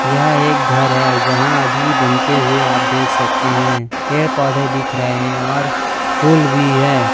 यह एक घर है यहां अभी बनते हुए आप देख सकते हैं पेड़ पौधे दिख रहे हैं और फूल भी है।